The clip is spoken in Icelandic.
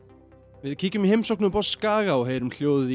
við kíkjum í heimsókn upp á Skaga og heyrum hljóðið í